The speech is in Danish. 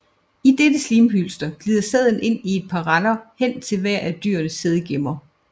I dette slimhylster glider sæden i et par render hen til hver af dyrenes sædgemmer